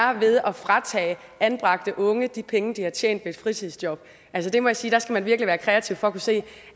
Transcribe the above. er ved at fratage anbragte unge de penge de har tjent ved et fritidsjob altså det må jeg sige der skal man virkelig være kreativ for at kunne se